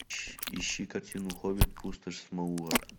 ищи картину хоббит пустошь смауга